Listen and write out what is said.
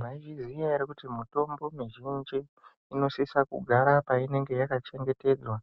Maizviziya ere kuti mitombo mizhinji inosisa kugara painenge yakachengetedzwa